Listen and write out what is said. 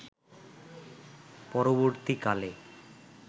পরবর্তী কালে